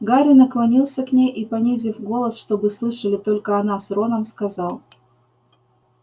гарри наклонился к ней и понизив голос чтобы слышали только она с роном сказал